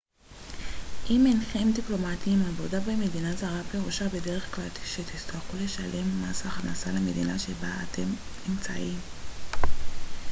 אם אינכם דיפלומטים עבודה במדינה זרה פירושה בדרך כלל שתצטרכו לשלם מס הכנסה למדינה שבה אתם נמצאים